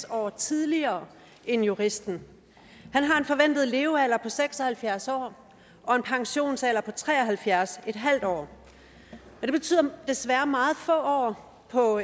år tidligere end juristen han har en forventet levealder på seks og halvfjerds år og en pensionsalder på tre og halvfjerds en halv år og det betyder desværre meget få år på